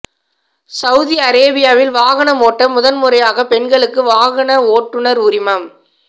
Saudi அரேபியாவில் வாகனம் ஓட்ட முதன்முறையாக பெண்களுக்கு வாகன ஓட்டுநர் உரிமம்